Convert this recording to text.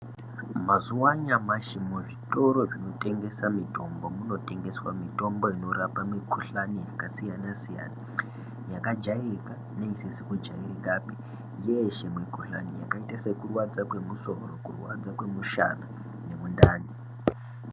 Mazuva anyamashi muzvitoro zvinotengesa mitombo munotengeswa mitombo inorapa mikuhlani yakasiyana-siyana, yakajairika neisizi kujairikapi. Yeeshe mikuhlani yakaita sekurwadza kwemusoro, kurwadza kwemushana nemundani.